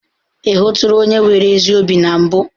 Ị hụtụla onye nwere ezi obi na mbụ?